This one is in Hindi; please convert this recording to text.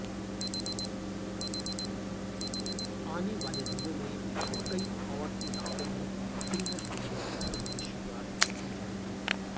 आने वाले दिनों में कई और इलाकों में सिंगल विंडो सिस्टम की शुरुआत की जाएगी